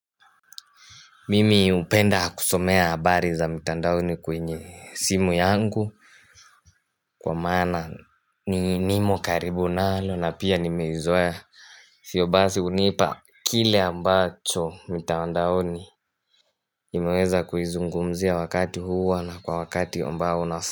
Mimi upenda kusomea abari za mitandaoni kwenye simu yangu kwa maana ni nimo karibu nalo na pia nimeizoea Sio basi unipa kile ambacho mitandaoni imeweza kuizungumzia wakati huwa na kwa wakati ambao unasa.